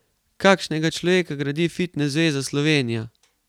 Kakšnega človeka gradi Fitnes zveza Slovenija?